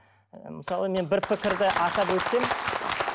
мысалы мен бір пікірді атап өтсем